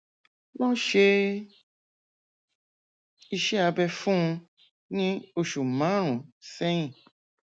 wọn ṣe iṣẹ abẹ fún un ní oṣù márùnún sẹyìn